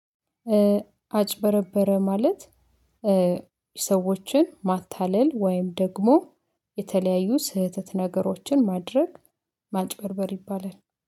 አጭበረበረ ማለት ሰዎችን ማታለል ወይም ደግሞ የተለያዩ ስህተት ነገሮችን ማድረግ። ማጭበርበር ይባላል፤